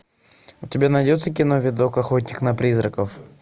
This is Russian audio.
у тебя найдется кино видок охотник на призраков